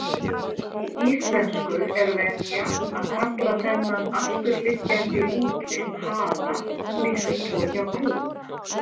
Í íslensku er venja að kalla þennan afturliggjandi útlim hala líkt og hjá kúm.